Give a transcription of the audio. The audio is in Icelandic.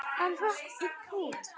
Hann hrökk í kút.